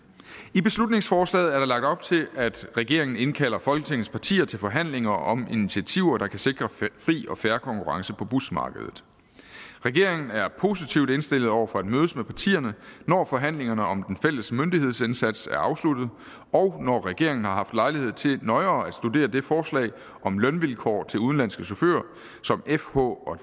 i beslutningsforslaget er der lagt op til at regeringen indkalder folketingets partier til forhandlinger om initiativer der kan sikre fri og fair konkurrence på busmarkedet regeringen er positivt indstillet over for at mødes med partierne når forhandlingerne om den fælles myndighedsindsats er afsluttet og når regeringen har haft lejlighed til nøjere at studere det forslag om lønvilkår til udenlandske chauffører som fh og